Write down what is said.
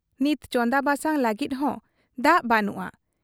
ᱱᱤᱛ ᱪᱚᱸᱫᱟ ᱵᱟᱥᱟᱝ ᱞᱟᱹᱜᱤᱫ ᱦᱚᱸ ᱫᱟᱜ ᱵᱟᱹᱱᱩᱜ ᱟ ᱾